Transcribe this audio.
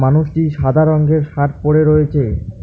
এখানে একটি সাদা রংগের শার্ট পড়ে রয়েছে।